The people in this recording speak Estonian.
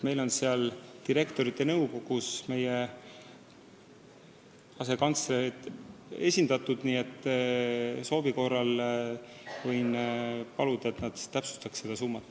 Meid esindab juhatajate nõukogus ka meie asekantsler ja soovi korral võin paluda, et seda summat täpsustataks.